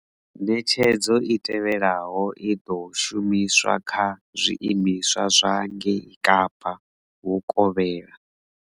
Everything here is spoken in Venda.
Ṋetshedzo i tevhelaho i ḓo shumiswa kha zwiimiswa zwa ngei Kapa vhukovhela.